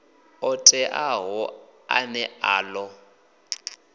o teaho ane a ḓo